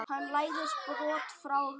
Hann læðist brott frá henni.